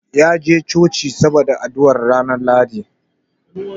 Ya je Coci saboda addu'ar ranar Lahadi.